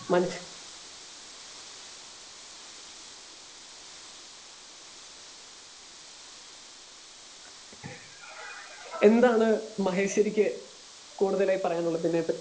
speaker 2 മനുഷ്യഎന്താണ് മഹേഷ്വരിക്ക് കൂടുതലായി പറയാനുള്ളത് ഇതിനെ പറ്റി